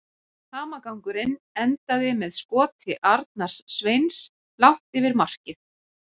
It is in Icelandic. Hamagangurinn endaði með skoti Arnars Sveins langt yfir markið.